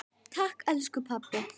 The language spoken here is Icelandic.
Takk elsku pabbi.